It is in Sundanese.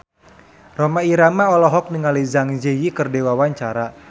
Rhoma Irama olohok ningali Zang Zi Yi keur diwawancara